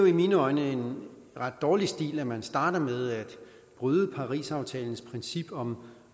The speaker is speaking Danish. i mine øjne en ret dårlig stil at man starter med at bryde parisaftalens princip om